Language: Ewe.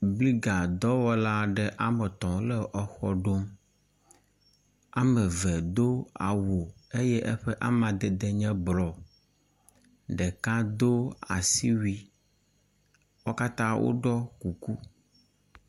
Bigla dɔwɔla aɖewo wome etɔ̃ wole xɔ aɖe ɖom. Wome eve do awu eye eƒe amadede nye blɔ. Ɖeka do asiwui. Wo katã woɖɔ kuku.